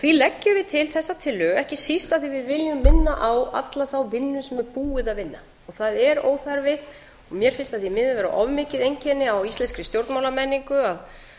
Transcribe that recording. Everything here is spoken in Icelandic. því leggjum við til þessa tillögu ekki síst af því að við viljum minna á alla þá vinnu sem er búið að vinna það er óþarfi og mér finnst það því miður vera of mikið einkenni á íslenskri stjórnmálamenningu að